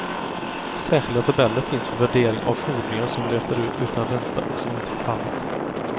Särskilda tabeller finns för värdering av fordringar som löper utan ränta och som inte förfallit.